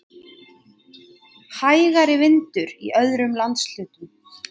Hægari vindur í öðrum landshlutum